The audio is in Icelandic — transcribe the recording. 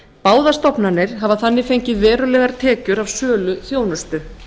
báðar stofnanir hafa þannig fengið verulegar tekjur af sölu þjónustu